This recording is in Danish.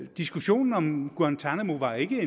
diskussionen om guantánamo var ikke